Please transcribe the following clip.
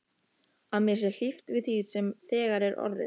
Að mér sé hlíft við því sem þegar er orðið.